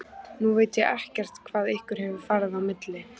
Nú veit ég ekkert hvað ykkur hefur farið á milli?